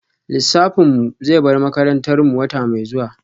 Lissafin mu zai bar makarantar mu wata mai zuwa